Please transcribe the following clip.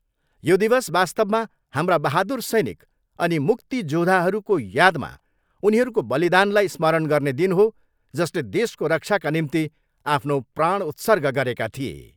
यो दिवस वास्तवमा हाम्रा बहादुर सैनिक अनि ' मुक्ति जोधा'हरूको यादमा उनीहरूको बलिदानलाई स्मरण गर्ने दिन हो जसले देशको रक्षाका निम्ति आफ्नो प्राण उर्त्सग गरेका थिए।